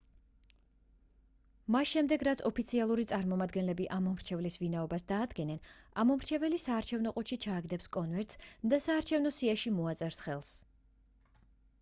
მას შემდეგ რაც ოფიციალური წარმომადგენლები ამომრჩევლის ვინაობას დაადგენენ ამომრჩეველი საარჩევნო ყუთში ჩააგდებს კონვერტს და საარჩევნო სიაში მოაწერს ხელს